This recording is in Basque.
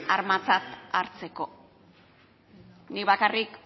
armatzat hartzeko nik bakarrik